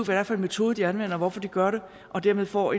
det er for en metode de anvender og hvorfor de gør det og dermed får